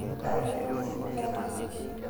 ain yang'ua irisiiti are